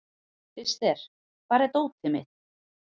Krister, hvar er dótið mitt?